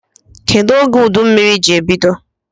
Kedu oge udummiri ji ebido?